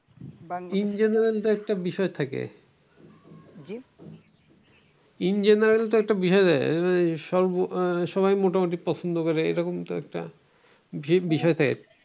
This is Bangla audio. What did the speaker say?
in general একটা বিষয় থাকে in general একটা বিষয় থাকে মোটামুটি পছন্দ করে এরকম তো একটা বিষয় থাকে ।